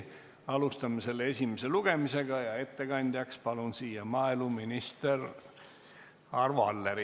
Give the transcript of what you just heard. Alustame selle esimest lugemist ja palun ettekandjaks maaeluminister Arvo Alleri.